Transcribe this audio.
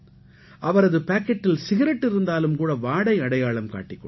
அவரது பாக்கெட்டில் சிகரெட் இருந்தாலும் கூட வாடை அடையாளம் காட்டிக் கொடுக்கும்